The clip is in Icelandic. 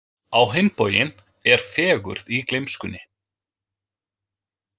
Á hinn bóginn er fegurð í gleymskunni.